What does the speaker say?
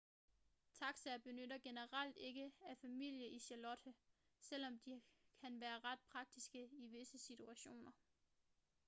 taxaer benyttes generelt ikke af familier i charlotte selvom de kan være ret praktiske i visse situationer